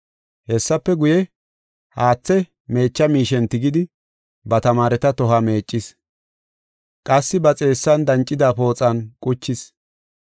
Hessafe guye, haathe meecha miishen tigidi, ba tamaareta tohuwa meeccis; qassi ba xeessan dancida pooxan quchis.